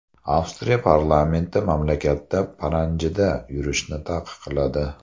Avstriya parlamenti mamlakatda paranjida yurishni taqiqladi.